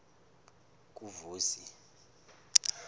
kuvusi